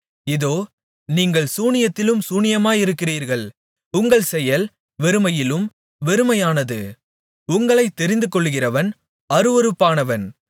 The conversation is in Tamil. இதோ நீங்கள் சூனியத்திலும் சூனியமாயிருக்கிறீர்கள் உங்கள் செயல் வெறுமையிலும் வெறுமையானது உங்களைத் தெரிந்துகொள்ளுகிறவன் அருவருப்பானவன்